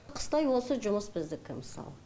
қыстай осы жұмыс біздікі мысалы